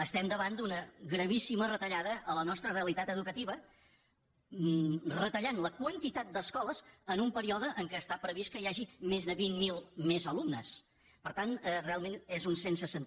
estem davant d’una gravíssima retallada a la nostra realitat educativa retallant la quantitat d’escoles en un període en què està previst que hi hagi més de vint mil alumnes més per tant realment és un absurd